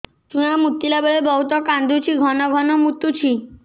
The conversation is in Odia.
ଛୁଆ ମୁତିଲା ବେଳେ ବହୁତ କାନ୍ଦୁଛି ଘନ ଘନ ମୁତୁଛି